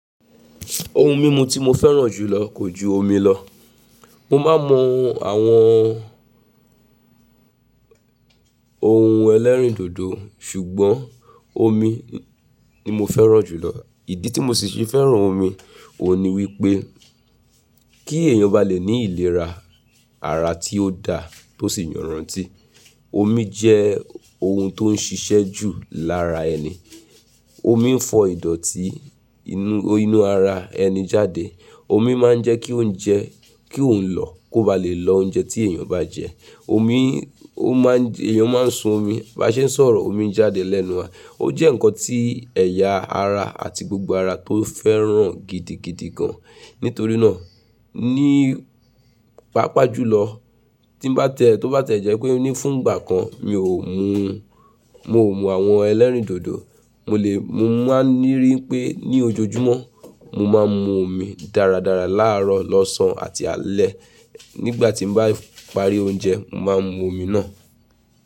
Ohun mímu tí mo fẹ́ràn jù lọ kò ju omi lọ. Mo máa ń mu àwọn ohun ẹlẹ́rìndòdò sùgbọ́n omi ni mo fẹ́ràn jù lọ. Ìdí tí mo sì se fẹ́ràn omi òhun ní wípé kí èèyàn ba lè ní ìlera ara tí ó da tó sì yọ̀nranti, omi jẹ́ ohun tó ń ṣiṣẹ́ jù lára ẹni. Omi ń fọ ìdọ̀tí inú, inú ara ẹni jáde. Omi máa ń jẹ́ kí oúnjẹ kí òhun lọ kó ba lè lọ oúnjẹ tí èèyàn bá jẹ. Omi ó máa ń èèyàn máa ń sun omi, bá ṣe ń sọ̀rọ̀ omi n jáde lẹ́nu wa. Ó jẹ́ ǹkan tí ẹ̀yà ara àti gbogbo ara tó fẹ́ràn gidigidi gan. Nítorí náà, ní pàápàá jùlọ tí n bá tiẹ́, tó bá tiẹ́ jẹ́ pé o ní fún ìgbà kan mi ò mú, mo mú àwọn ẹlẹ́rìndòdò mo lè, mo máa ń rí i pé ní ojoojúmọ́ mo máa ń mu omi dáradára láàárọ̀ lọ́sàn-án àti alẹ́ nígbà tí n bá parí oúnjẹ, mo máa ń mu omi náà.